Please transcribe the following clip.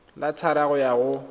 le thataro go ya go